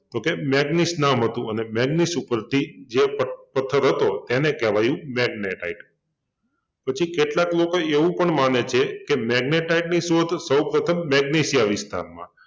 તો કે મેગ્નીસ નામ હતુ અને મેગ્નીસ ઉપરથી જે પદ પથ્થર હતો એને કહેવાયુ મેગ્નેટાઈટ પછી કેટલાક લોકો એવું પણ માને છે કે મેગ્નેટાઈટની શોધ સૌપ્રથમ મેગ્નિશિયા વિસ્તારમાં